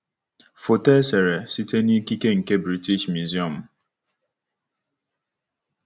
Foto e sere site n'ikike nke British Museum.